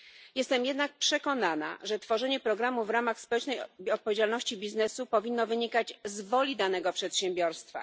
Jestem jednak przekonana, że tworzenie programu w ramach społecznej odpowiedzialności biznesu powinno wynikać z woli danego przedsiębiorstwa.